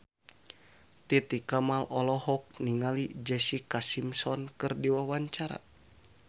Titi Kamal olohok ningali Jessica Simpson keur diwawancara